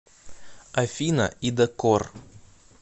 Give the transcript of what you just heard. афина ида корр